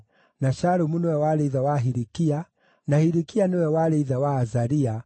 na Shalumu nĩwe warĩ ithe wa Hilikia, na Hilikia nĩwe warĩ ithe wa Azaria,